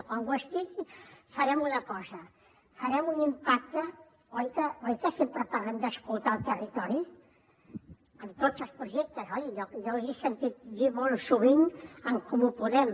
quan ho estigui farem una cosa farem un impacte oi que sempre parlem d’escoltar el territori amb tots els projectes oi jo li he sentit dir molt sovint a en comú podem